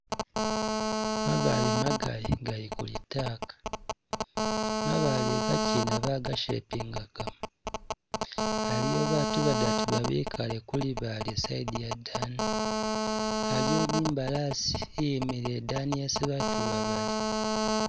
Mabaale magali gali ku litaka, mabaale igakyina baga shepingagamo, aliyo batu badatu babikale ku libaale i side iyadani, aliyo ni imbalasi iyimile idani yesi batu iba bali.